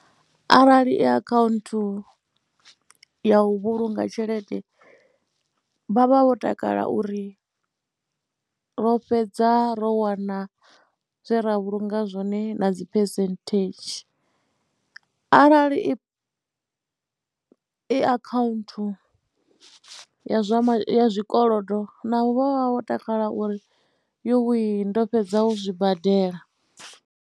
Arali i akhaunthu ya u vhulunga tshelede vha vha vho takala uri ro fhedza ro wana zwe ra vhulunga zwone na dzi phesenthedzhi arali i akhaunthu ya zwa ma, ya zwa zwikolodo navho vha vha vho takala uri yuwi ndo fhedza u zwi badela.